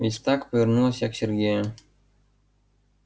ведь так повернулась я к сергею